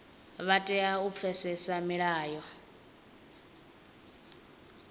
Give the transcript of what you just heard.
vha tea u pfesesa milayo